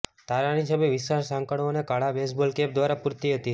તારાની છબી વિશાળ સાંકળો અને કાળા બેઝબોલ કેપ દ્વારા પુરતી હતી